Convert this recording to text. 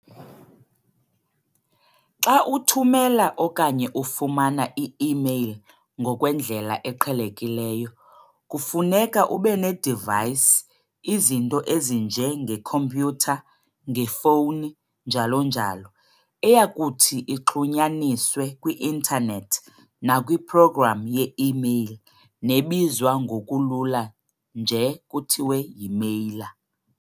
Xa uthumela okanye ufumana i-email ngokwendlela eqhelekileyo, kufuneka ubene-device izinto ezinje nge-computer, nge-fowuni, njalo njalo. eyakuthi ixhunyaniswe kwi-Internet nakwi-program ye-email nebizwa ngokulula nje kuthiwe yi-mailer.